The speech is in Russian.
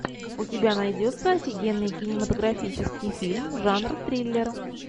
у тебя найдется офигенный кинематографический фильм жанра триллер